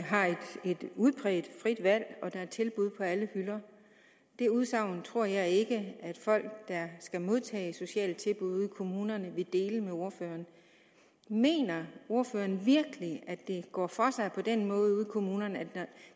har et udpræget frit valg og der er tilbud på alle hylder det udsagn tror jeg ikke at folk der skal modtage sociale tilbud ude i kommunerne vil dele med ordføreren mener ordføreren virkelig at det går for sig på den måde ude kommunerne at